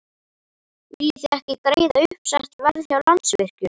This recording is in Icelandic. Viljið þið ekki greiða uppsett verð hjá Landsvirkjun?